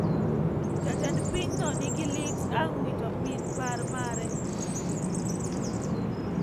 Jatend piny no nigi lit ang wito min par mare